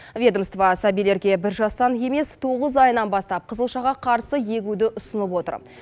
ведомство сәбилерге бір жастан емес тоғыз айынан бастап қызылшаға қарсы егуді ұсынып отыр